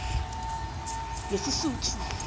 ngesisuthu